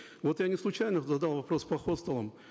вот я неслучайно задал вопрос по хостелам